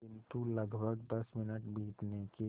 किंतु लगभग दस मिनट बीतने के